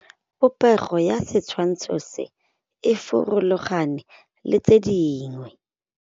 Popêgo ya setshwantshô se, e farologane le tse dingwe.